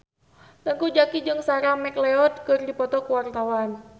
Teuku Zacky jeung Sarah McLeod keur dipoto ku wartawan